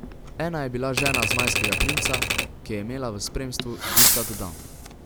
Ena je bila žena zmajskega princa, ki je imela v spremstvu ducat dam.